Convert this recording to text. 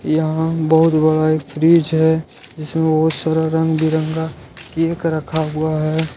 यहां बहुत बड़ा एक फ्रिज है जिसमें बहुत सारा रंग बिरंगा केक रखा हुआ है।